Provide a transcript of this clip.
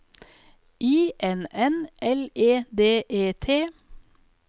I N N L E D E T